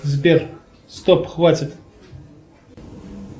сбер стоп хватит